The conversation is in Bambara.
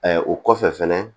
o kɔfɛ fɛnɛ